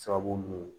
Sababu mun ye